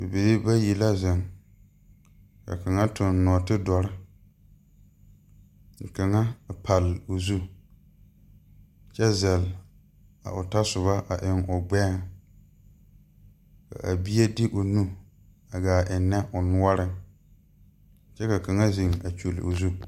Bibiire bayi la zeŋ ka kaŋa tuŋ nɔɔtidɔre ka kaŋa pall o zu kyɛ zɛl a o tasɔbɔ a eŋ o gbɛɛŋ a bie de o nu a gaa ennɛ o noɔreŋ kyɛ ka kaŋa zeŋ a kyulle o zu.